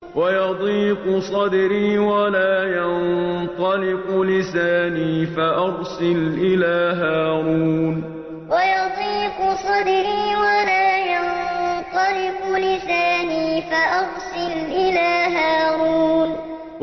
وَيَضِيقُ صَدْرِي وَلَا يَنطَلِقُ لِسَانِي فَأَرْسِلْ إِلَىٰ هَارُونَ وَيَضِيقُ صَدْرِي وَلَا يَنطَلِقُ لِسَانِي فَأَرْسِلْ إِلَىٰ هَارُونَ